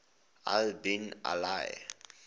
al bin ali